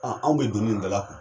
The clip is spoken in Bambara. Anw bɛ donni in dalakuru.